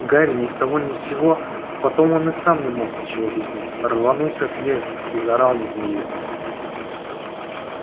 гарри ни с того ни с сего потом он и сам не мог ничего объяснить рванулся с места и заорал на змею